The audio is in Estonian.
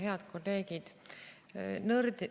Head kolleegid!